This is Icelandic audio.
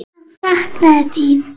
Hann saknaði sín.